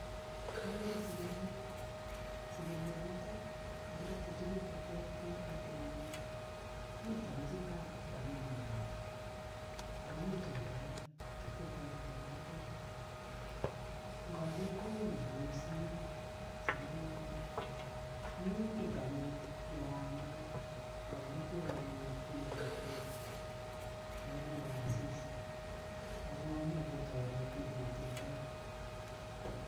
Akere sikiryet. Sikiryonito kokirotyi tuguk cheterter batenyi, mi tamusitap anyun mwanik ako mi tuguk alak cheterter batet, nkoker ko uni bunu siro sikiryoni. Mi emet anyun neyamat ngaker koyomyotin ketik akolole asista ako momi akot oret niketildoi.